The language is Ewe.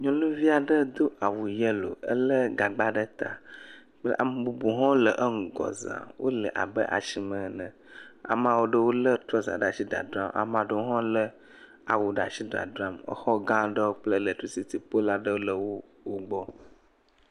nyɔnuviaɖe dó awu yelo éle gagba ɖe ta ame bubuwo hã le eŋugɔ zã wole abe asime ene amawo ɖewo le trɔza ɖasi le dzadram amaɖewo hã le awu ɖasi dzadram exɔ gã ɖe kple lɛtricity polwo le wógbɔ